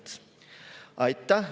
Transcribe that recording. Aitäh!